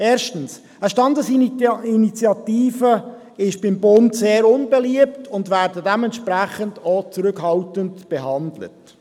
Erstens: Eine Standesinitiative ist beim Bund sehr unbeliebt und wird entsprechend auch zurückhaltend behandelt.